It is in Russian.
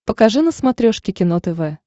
покажи на смотрешке кино тв